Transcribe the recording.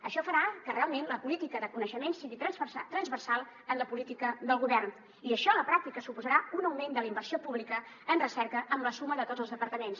això farà que realment la política de coneixement sigui transversal en la política del govern i això a la pràctica suposarà un augment de la inversió pública en recerca amb la suma de tots els departaments